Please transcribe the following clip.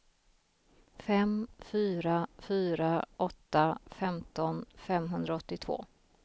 fem fyra fyra åtta femton femhundraåttiotvå